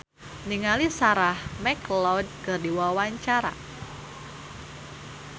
Melly Herlina olohok ningali Sarah McLeod keur diwawancara